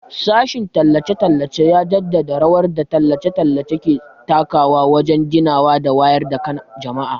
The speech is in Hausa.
Sashen tallace-tallace ya jaddada rawar da tallace-tallace ke takawa wajen ginawa da wayar da kan jama'a.